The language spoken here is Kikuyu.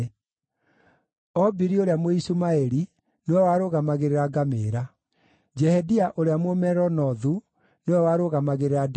Obili ũrĩa Mũishumaeli nĩwe warũgamagĩrĩra ngamĩĩra. Jehedeia ũrĩa Mũmeronothu nĩwe warũgamagĩrĩra ndigiri.